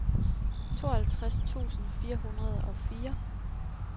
tooghalvtreds tusind fire hundrede og fire